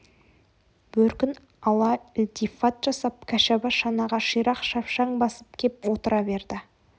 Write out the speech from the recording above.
бөркін ала ілтифат жасап кәшаба шанаға ширақ шапшаң басып кеп отыра берді